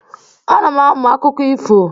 Ana m amụ akụkọ ifo.